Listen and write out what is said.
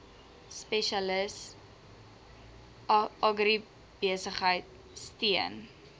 spesialis agribesigheid steun